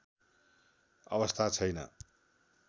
अवस्था छैन